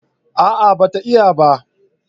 a'a ba ta iya ba